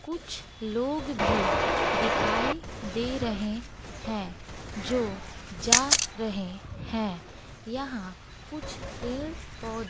कुछ लोग भी दिखाई दे रहे हैं जो जा रहे हैं यहां कुछ पेड़ पौधे--